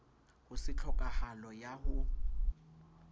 ho se tlhokahalo ya ho